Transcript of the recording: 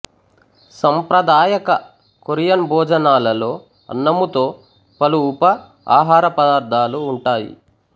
సంప్రదాయక Korean భోజనాలలో అన్నముతో పలు ఉప ఆహార పదార్ధాలు ఉంటాయి